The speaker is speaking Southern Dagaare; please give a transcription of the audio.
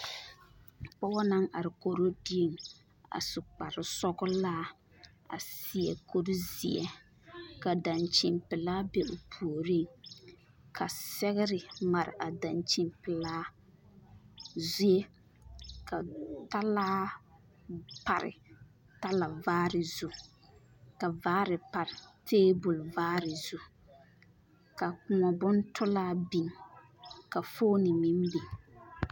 Pͻge naŋ are koro dieŋ a su kpare sͻgelaa a seԑ kuri zeԑ ka daŋkyini pelaa be o puoriŋ ka sԑgere mare a daŋkyini pelaa zie ka talaa pare talavaare zu ka vaaare pare teebol vaare zu.